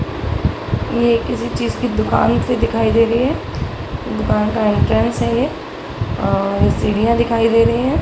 ये किसी चीज की दुकान सी दिखाई दे रही है | दुकान का एंट्रेंस है ये और सीढ़ियाँ दिखाई दे रही हैं |